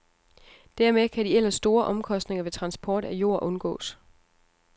Dermed kan de ellers store omkostninger ved transport af jord undgås.